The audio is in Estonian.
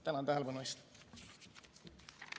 Tänan tähelepanu eest!